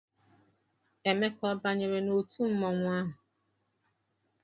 Emeka ọ banyere n'otu mmọnwụ ahụ?